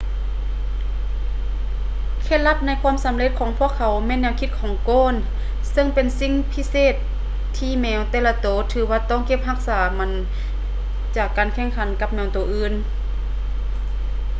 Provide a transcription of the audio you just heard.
ເຄັດລັບໃນຄວາມສຳເລັດຂອງພວກເຂົາແມ່ນແນວຄິດຂອງໂກນ ເຊິ່ງເປັນສິ່ງພິເສດທີ່ແມວແຕ່ລະໂຕຖືວ່າຕ້ອງເກັບຮັກສາມັນຈາກການແຂ່ງຂັນກັບແມວໂຕອື່ນ